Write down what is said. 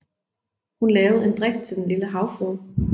Hun lavede en drik til Den lille havfrue